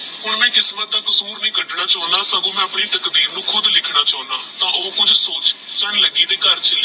ਹੁਣ ਮੈ ਕਿਸਮਤ ਦਾ ਕਸੂਰ ਨਾਘੀ ਕੜਨਾ ਚੌਂਦਾ ਆਪਣੀ ਤਕਦੀਰ ਨੂ ਮੈ ਖੁਦ ਲਿਖਣਾ ਚੌਂਦਾ ਕੁਛ ਸੋਚ ਚਲ ਲੱਕੀ ਦੇ ਘਰ ਚਲਿਏ